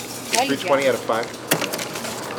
кальян